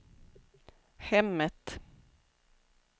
hemmet